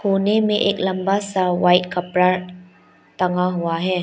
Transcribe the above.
कोने में एक लंबा सा वाइट कपड़ा टंगा हुआ है।